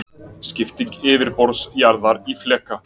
Skipting yfirborðs jarðar í fleka.